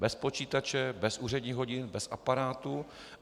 Bez počítače, bez úředních hodin, bez aparátu.